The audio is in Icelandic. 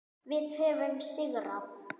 Þau höfðu sigrað.